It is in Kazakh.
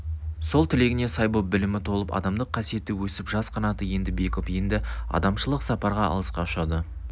сол тілегіне сай боп білімі толып адамдық қасиеті өсіп жас қанаты енді бекіп енді адамшылық сапарға алысқа ұшады